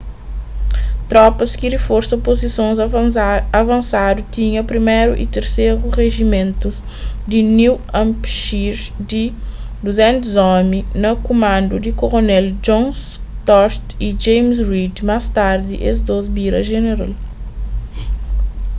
tropas ki riforsa puzisons avansadu tinha 1º y 3º rijimentus di new hampshire di 200 omi na kumandu di koronél john stark y james reed más tardi es dôs bira jeneral